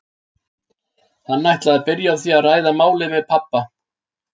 Hann ætlaði að byrja á því að ræða málin við pabba.